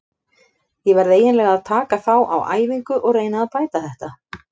Ég verð eiginlega að taka þá á æfingu og reyna að bæta þetta.